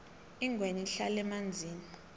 ingwenya ihlala emanzini